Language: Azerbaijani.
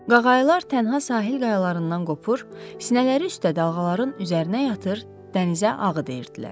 Qağayılar tənha sahil qayalarından qopur, sinələri üstdə dalğaların üzərinə yatır, dənizə ağı deyirdilər.